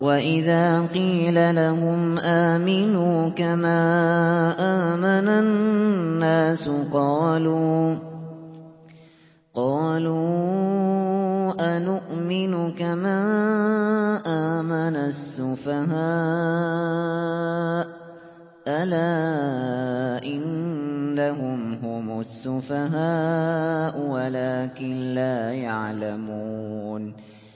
وَإِذَا قِيلَ لَهُمْ آمِنُوا كَمَا آمَنَ النَّاسُ قَالُوا أَنُؤْمِنُ كَمَا آمَنَ السُّفَهَاءُ ۗ أَلَا إِنَّهُمْ هُمُ السُّفَهَاءُ وَلَٰكِن لَّا يَعْلَمُونَ